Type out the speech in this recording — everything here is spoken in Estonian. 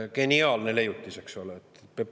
Geniaalne leiutis, eks ole!